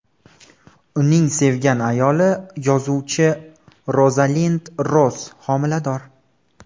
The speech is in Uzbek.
Uning sevgan ayoli yozuvchi Rozalind Ross homilador.